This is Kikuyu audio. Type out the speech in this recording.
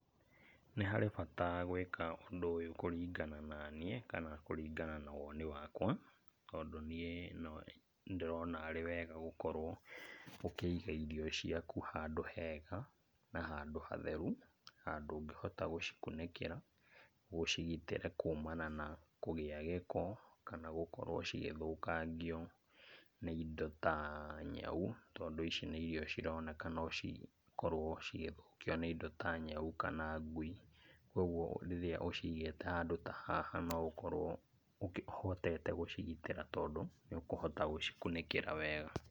Nĩ harĩ bata gwĩka ũndũ ũyũ kũringana na niĩ, kana kũringana na woni wakwa, tondũ niĩ nĩ ndĩrona arĩ wega gũkorwo ũkĩiga irio ciaku handũ hega na handũ hatheru, handũ ũgĩhota gũcikunĩkĩra, ũcigitĩre kumana na kũgĩa gĩko kana gũkorwo cigĩthũkangio nĩ indo ta nyau, tondũ ici nĩ irio cironeka no cikorwo cigĩthũkio nĩ indo ta nyau kana ngui. Kuoguo rĩrĩa ũcigĩte handũ ta haha no ũkorwo ũhotete gũcigitĩra tondũ nĩ ũkũhota gũcikunĩkĩra wega.